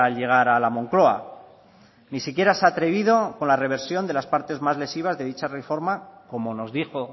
llegar a la moncloa ni siquiera se ha atrevido con la reversión de las partes más lesivas de dicha reforma como nos dijo